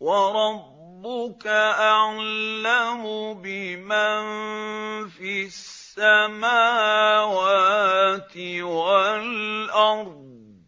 وَرَبُّكَ أَعْلَمُ بِمَن فِي السَّمَاوَاتِ وَالْأَرْضِ ۗ